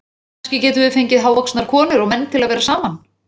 Kannski getum við fengið hávaxnar konur og menn til að vera saman